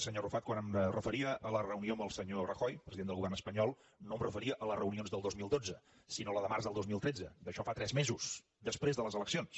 senyor arrufat quan em referia a la reunió amb el senyor rajoy president del govern espanyol no em referia a les reunions del dos mil dotze sinó a la de març del dos mil tretze d’això en fa tres mesos després de les eleccions